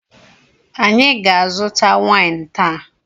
Anyị ga-aquta waịn taa.